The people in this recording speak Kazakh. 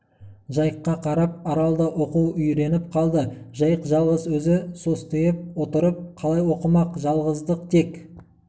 жайыққа қарап арал да оқу үйреніп қалды жайық жалғыз өзі состиып отырып қалай оқымақ жалғыздық тек